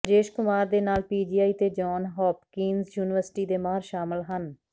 ਰਾਜੇਸ਼ ਕੁਮਾਰ ਦੇ ਨਾਲ ਪੀਜੀਆਈ ਤੇ ਜੌਨ ਹੌਪਕਿੰਜ਼ ਯੂਨੀਵਰਸਿਟੀ ਦੇ ਮਾਹਿਰ ਸ਼ਾਮਲ ਹਨ